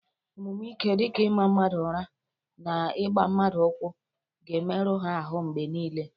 Omume ike dị ka ịma mmadụ ụra na ịgba mmadụ ụkwụ ga-emerụ ha ahụ mgbe niile.